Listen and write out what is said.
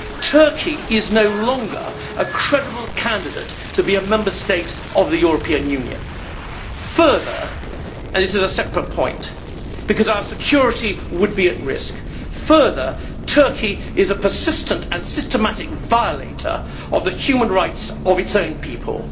Turkey is no longer a credible candidate to be a Member State of the European Union. Further and this is a separate point, because our security would be at risk Turkey is a persistent and systematic violator of the human rights of its own people.